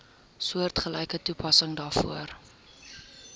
soortgelyke toepassing daarvoor